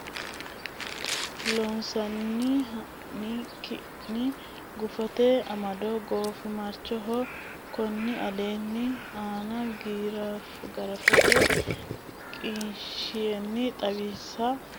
Loossinanni hanni ki ne gufote amado Goofimarchoho konni aleenni A nna giraafete qinishshi xawisate hunda shiqqino maatto heewisiisatenni wo naalle.